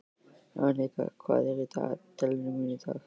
Annika, hvað er í dagatalinu mínu í dag?